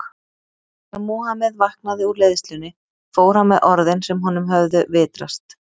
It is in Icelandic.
Þegar Múhameð vaknaði úr leiðslunni fór hann með orðin sem honum höfðu vitrast.